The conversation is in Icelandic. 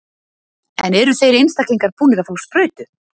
En eru þeir einstaklingar búnir að fá sprautu?